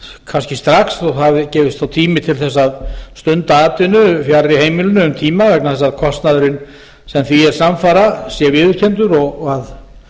strax svo það gefist þá tími til þess að stunda atvinnu fjarri heimilinu um tíma vegna þess að kostnaðurinn sem því er samfara sé viðurkenndur og að